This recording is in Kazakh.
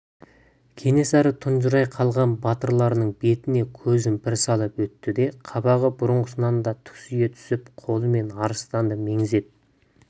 кенесары тұнжырай қалған батырларының бетіне көзін бір салып өтті де қабағы бұрынғысынан да түксие түсіп қолымен арыстанды меңзеп